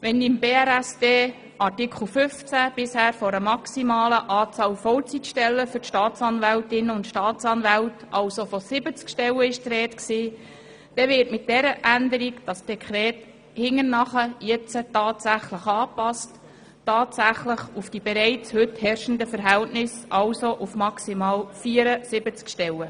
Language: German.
Wenn in Artikel 15 BRSD bisher von einer maximalen Anzahl Vollzeitstellen für die Staatsanwältinnen und Staatsanwälten, also von 70 Stellen, die Rede war, so wird das Dekret mit dieser Änderung nun im Nachgang an die tatsächlich bereits herrschenden Verhältnisse angepasst, also auf maximal 74 Stellen.